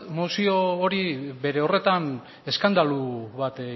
mozio hori bere horretan eskandalu bat